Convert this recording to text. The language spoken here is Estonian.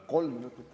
Kolm minutit.